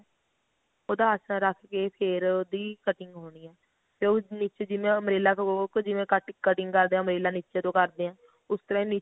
ਉਹਦਾ ਆਸਣ ਰੱਖ ਕੇ ਫਿਰ ਉਹਦੀ cutting ਹੋਣੀ ਏ ਤੇ ਉਸ ਵਿੱਚ ਜਿਵੇਂ ਉਹ umbrella ਤੋਂ ਜਿਵੇਂ ਆਪਾਂ cutting umbrella ਨੀਚੇ ਤੋਂ ਕਰਦੇ ਆਂ ਉਸ ਤਰ੍ਹਾਂ